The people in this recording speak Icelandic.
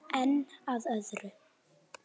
En að öðru.